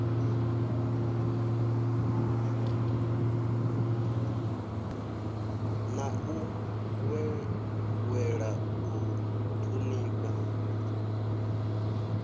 na u ṅweṅwela u ṱhonifha